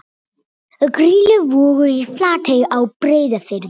Grýluvogur í Flatey á Breiðafirði.